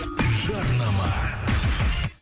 жарнама